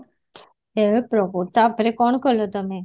ହେ ପ୍ରଭୁ ତାପରେ କଣ କଲ ତମେ